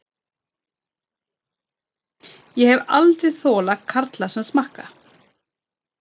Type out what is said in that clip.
Ég hef aldrei þolað karla sem smakka.